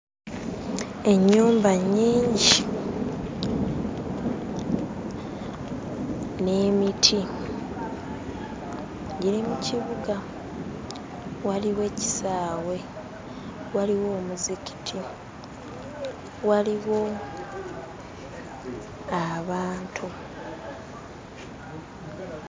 Ennyumba nnyingi n'emiti giri mu kibuga. Waliwo ekisaawe, waliwo omuzikiti, waliwo abantu.